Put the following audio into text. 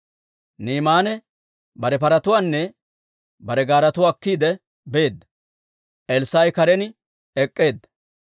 Ni'imaane bare paratuwaanne paraa gaaretuwaa akkiide beedda; Elssaa'a karen ek'k'eedda.